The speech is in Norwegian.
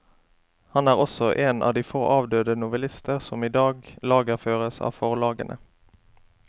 Han er også en av de få avdøde novellister som i dag lagerføres av forlagene.